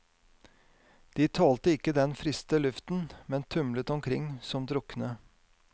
De tålte ikke den friste luften, men tumlet omkring som drukne.